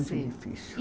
difícil.